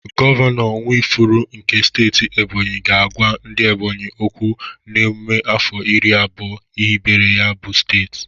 Gọvanọ Nwifuru nke steeti Ebonyi ga-agwa ndị Ebonyi okwu n'emụme afọ iri abụọ ehibere ya bụ steeti.